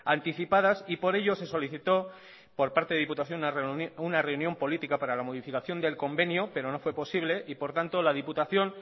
anticipadas y por ello se solicitó por parte de diputación una reunión política para la modificación del convenio pero no fue posible y por tanto la diputación